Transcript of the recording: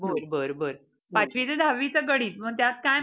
दोन दिवसाचं असतंय व्हयं? नंतर बक्षीस वितरण पण असतं.